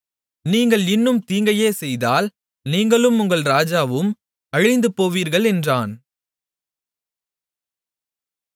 நீங்கள் இன்னும் தீங்கையே செய்தால் நீங்களும் உங்கள் ராஜாவும் அழிந்துபோவீர்கள் என்றான்